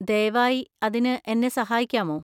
ദയവായി അതിന് എന്നെ സഹായിക്കാമോ?